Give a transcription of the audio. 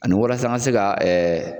Ani walasa an ka se ka ɛ